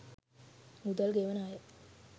මුදල් ගෙවන අය